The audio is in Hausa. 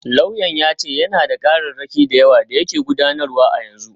Lauyan ya ce yana da kararraki da yawa da yake gudanarwa a yanzu.